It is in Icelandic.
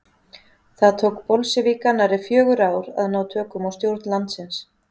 Það tók bolsévíka nærri fjögur ár að ná tökum á stjórn landsins.